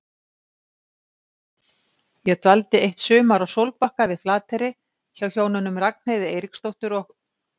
Ég dvaldist eitt sumar á Sólbakka við Flateyri, hjá hjónunum Ragnheiði Eiríksdóttur og